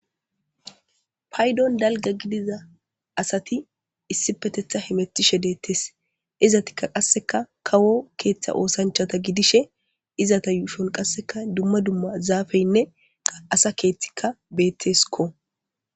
Paydon dalga gidiza asati issi petetha hemettishe deettes izatikka qasseka kawo keeththa oosanchata gidishe izata yuushon qasseka dumma dumma zaafeynne qa asa keethtika beetteskko.